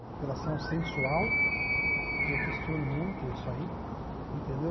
Apelação sensual, que eu questiono muito isso aí, entendeu?